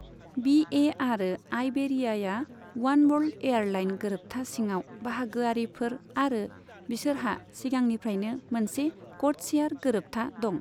बी A आरो आइबेरियाया Oneworld airline गोरोबथा सिङाव बाहागोआरिफोर आरो बिसोरहा सिगांनिफ्रायनो मोनसे क'डशेयार गोरोबथा दं।